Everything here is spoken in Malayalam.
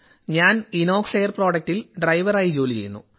ഞാൻ ഇനോക്സ് എയർ പ്രോഡക്ടിൽ ഡ്രൈവറായി ജോലി ചെയ്യുന്നു